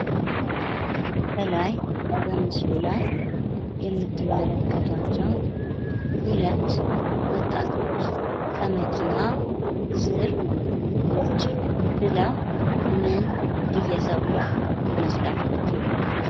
ከላይ በምስሉ ላይ የምትመለከቷቸው ሁለት ወጣቶች ከመኪና ስር ቁጭ ብለው ምን እየሰሩ ይመስላችኋል?